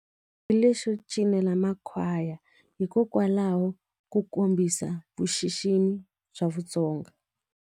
Hi lexo cinela makhwaya hikokwalaho ku kombisa vuxiximi bya vutsonga.